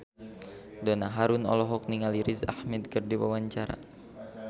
Donna Harun olohok ningali Riz Ahmed keur diwawancara